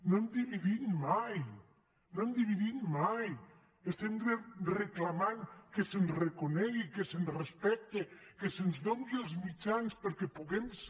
no hem dividit mai no hem dividit mai estem reclamant que se’ns reconegui que se’ns respecte que se’ns doni els mitjans perquè puguem ser